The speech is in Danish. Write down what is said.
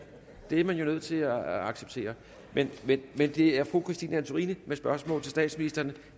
og det er man nødt til at acceptere det er det er fru christine antorini med et spørgsmål til statsministeren